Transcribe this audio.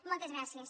moltes gràcies